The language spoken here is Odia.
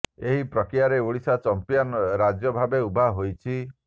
ଏହି ପ୍ରକ୍ରିୟାରେ ଓଡ଼ିଶା ଚମ୍ପିଅନ୍ ରାଜ୍ୟ ଭାବେ ଉଭା ହୋଇଛି